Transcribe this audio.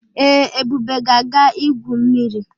Ee, Ebube ga-aga igwu mmiri.